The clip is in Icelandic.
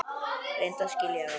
Reyndu að skilja það!